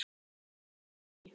Ég sá þetta ekki.